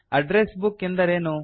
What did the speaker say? address book ಎಂದರೇನು